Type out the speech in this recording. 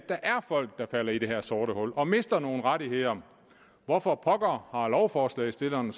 folk der falder i det her sorte hul og mister nogle rettigheder hvorfor pokker har lovforslagsstillerne